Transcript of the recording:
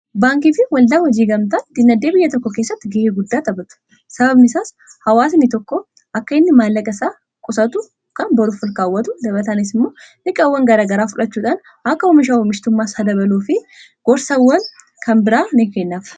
baankiifi waldaa wajii gamtaan dinagdee biyya tokko keessatti ga'ee guddaa taphatu . sababni isaas hawaasnii tokko akka inni maallaqa isaa qusatu kan boruuf olkaawwatu . dabalatanis immoo dhiiqaawwan garagaraa fudhachuudhaan akka oomishaa omishtummaas haa dabaluu fi gorsawwan kan biraa ni kennaaf.